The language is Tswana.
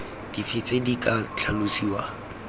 dife tse di ka tlhalosiwang